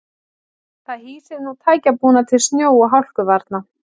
Það hýsir nú tækjabúnað til snjó og hálkuvarna.